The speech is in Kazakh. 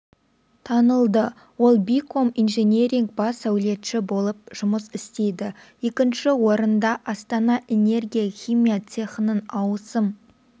танылды ол биком-инжиниринг бас сәулетші болып жұмыс істейді екінші орынды астана энергия химия цехының ауысым